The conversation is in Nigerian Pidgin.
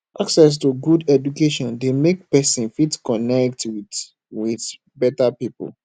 access to good education de make persin fit connect with with better pipo